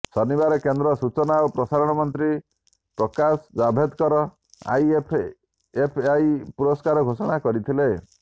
ଶନିବାର କେନ୍ଦ୍ର ସୂଚନା ଓ ପ୍ରସାରଣ ମନ୍ତ୍ରୀ ପ୍ରକାଶ ଜାଭେଦକର ଆଇଏଫ୍ଏଫ୍ଆଇ ପୁରସ୍କାର ଘୋଷଣା କରିଥିଲେ